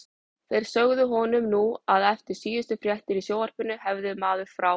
Þeir sögðu honum nú að eftir síðustu fréttir í sjónvarpinu hefði maður frá